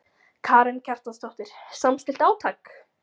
Karen Kjartansdóttir: Samstillt átak?